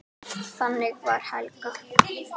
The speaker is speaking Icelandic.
Þannig var Helga.